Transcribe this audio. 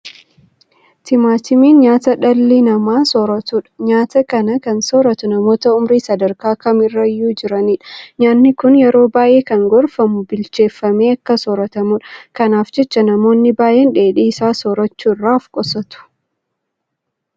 Timaatimiin nyaata dhalli namaa sooratuudha. Nyaata kana kan sooratu namoota ummurii sadarkaa kam irrayyuu jiranidha. Nyaanni kun yeroo baay'ee kan gorfamu bilcheeffamee akka soorratamudha. Kanaaf jecha namoonni baay'een dheedhii isaa soorachuu irraa ofqusatu.